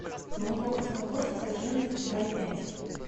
молоко красногорское жирность два и пять